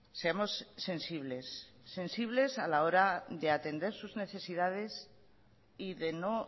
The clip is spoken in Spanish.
seamos sensibles sensibles a la hora de atender sus necesidades y de no